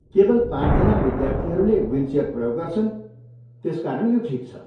केवल पाँचजना विद्यार्थीहरूले विलचेयर प्रयोग गर्छन्, त्यसकारण यो ठिक छ।